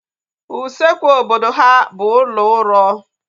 Usekwu obodo ha bụ ụlọ uro